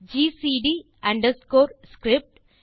GCD underscore script